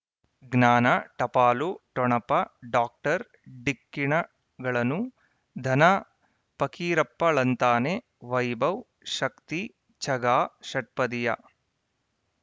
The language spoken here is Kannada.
ಜ್ಞಾನ ಟಪಾಲು ಠೊಣಪ ಡಾಕ್ಟರ್ ಢಿಕ್ಕಿ ಣಗಳನು ಧನ ಫಕೀರಪ್ಪ ಳಂತಾನೆ ವೈಭವ್ ಶಕ್ತಿ ಝಗಾ ಷಟ್ಪದಿಯ